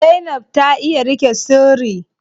Zainab ta iya riƙe sirri.